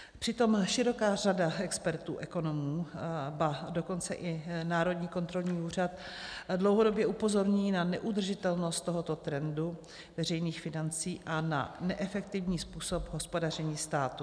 Přitom široká řada expertů, ekonomů, ba dokonce i národní kontrolní úřad dlouhodobě upozorňují na neudržitelnost tohoto trendu veřejných financí a na neefektivní způsob hospodaření státu.